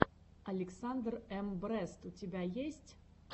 александр эм брест у тебя есть